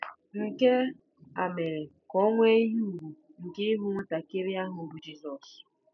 Nke a mere ka o nwee ihe ùgwù nke ịhụ nwatakịrị ahụ bụ́ Jizọs.